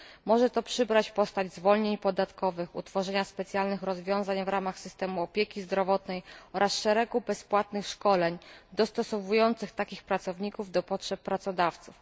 Może to przybrać postać zwolnień podatkowych, utworzenia specjalnych rozwiązań w ramach systemu opieki zdrowotnej oraz szeregu bezpłatnych szkoleń dostosowujących takich pracowników do potrzeb pracodawców.